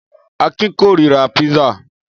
Akin kórira písà.